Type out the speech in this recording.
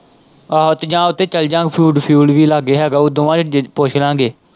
ਆਹੋ ਤੇ ਜਾਂ ਉੱਥੇ ਚੱਲ ਜਾਂਗੇ ਫ਼ੂਡ ਫੂਏਲ ਵੀ ਲਾਗੇ ਹੈ ਗਾ ਉਹ ਦੋਵਾਂ ਪੁੱਛ ਲਾਂਗੇ।